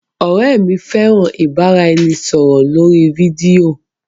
Ọrẹ mi fẹran ibaraẹnisọrọ lori fidio.